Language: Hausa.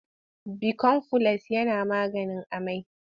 Bikomfules yana maganin amai.